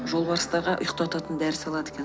жолбарыстарға ұйықтататын дәрі салады екен